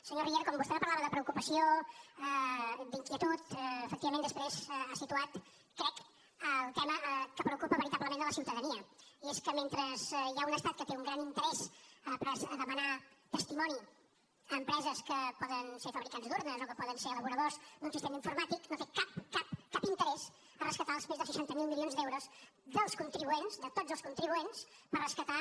senyor riera quan vostè me parlava de preocupació d’inquietud efectivament després ha situat crec el tema que preocupa veritablement a la ciutadania i és que mentre hi ha un estat que té un gran interès a demanar testimoni a empreses que poden ser fabricants d’urnes o que poden ser elaboradors d’un sistema informàtic no té cap cap cap interès a rescatar els més de seixanta miler milions d’euros dels contribuents de tots els contribuents per rescatar